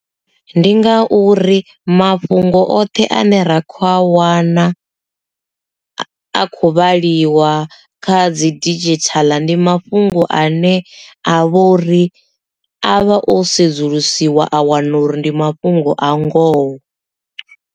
Ndi nga uri mafhungo oṱhe ane ra kho a wana a khou vhaliwa kha dzi digital ndi mafhungo ane a vhori a vha o sedzulusiwa a wana uri ndi mafhungo a ngoho.